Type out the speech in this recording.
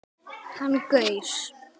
Hann gaus